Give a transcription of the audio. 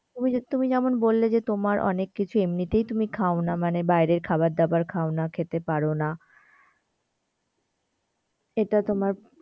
ওই যে তুমি যেমন বললে যে তোমার অনেক কিছু এমনিতেই তুমি খাওনা মানে বাইরের খাবার দাবার খাওনা খেতে পারোনা এটা তোমার,